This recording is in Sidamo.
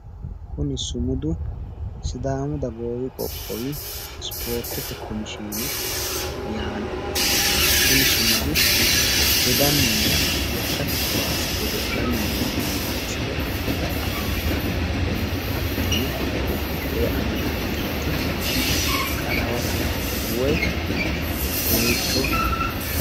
Kuni sumudu sidaamu dagoomi qoqqowi isipoortete komishiine yaanno kuni sumudi dodanninna lekkate kaase godo'lanni noo manni misile afantanno, hattono ku"u koee amadantinoti qalawate woy dooyiicho afantanno.